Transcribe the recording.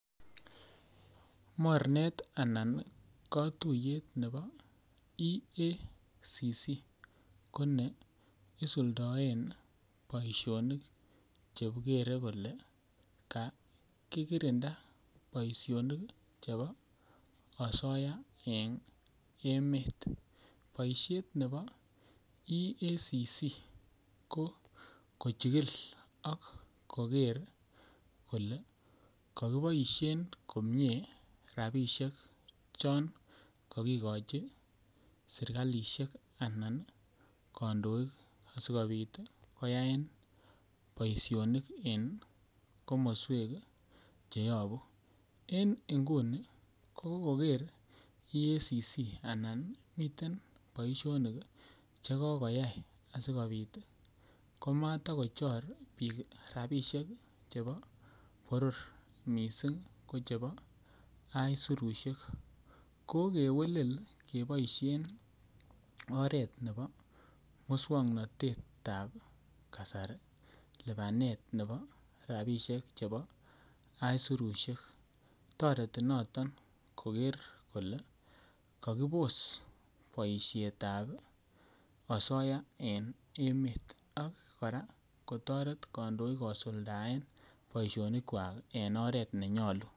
Mornet anan kotuyet nebo EACC ko ne isuldoen boisionik che gere kole kakirinda boisionik chebo asoya en emet. Boishet nebo EACC ko kochigil ak koger kole kokiboishen en komie rabishek chon kokigochi serkalishek anan kondoik asikopit koyaen boisionik en komoswek che yobuu en nguni kogoger EACC anan miten boisionik che kokoyay asikopit ii komata kochor biik rabishek ii chebo boror missing ko chebo aisurushek. Kokewelel keboishen oret nebo muswognotetab kasari lipanetab rabishekab aisurushek toreti noton koger kole kokibos boishetab asoya en emet ak koraa kotoret kondoik kosuldaen boisionikwak en oret nenyoluu